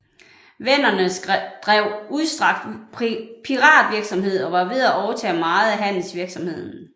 Venderne drev udstrakt piratvirksomhed og var ved at overtage meget af handelsvirksomheden